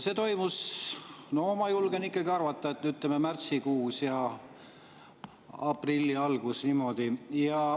See toimus, no ma julgen ikkagi arvata, ütleme, märtsikuus ja aprilli alguses.